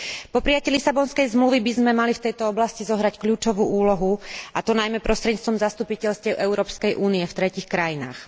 Po prijatí Lisabonskej zmluvy by sme mali v tejto oblasti zohrať kľúčovú úlohu, a to najmä prostredníctvom zastupiteľstiev Európskej únie v tretích krajinách.